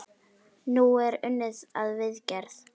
Nú er unnið að viðgerð.